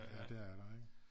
Ja det er der ikke